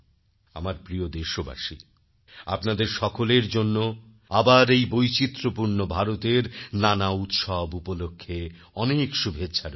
আমার প্রিয় দেশবাসী আপনাদের সকলের জন্য আবার এই বৈচিত্র্যপূর্ণ ভারতের নানা উৎসব উপলক্ষে অনেক শুভেচ্ছা রইল